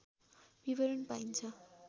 विवरण पाइन्छ